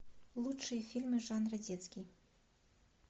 лучшие фильмы жанра детский